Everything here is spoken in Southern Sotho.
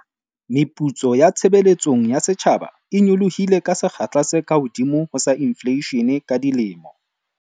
Meputso ya tshebeletsong ya setjhaba e nyolohile ka sekgahla se kahodimo ho sa infleishene ka dilemo